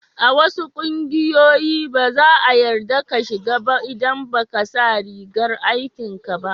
A wasu kungiyoyi, ba za'a yarda ka shiga ba idan ba ka sa rigan aikin ka ba.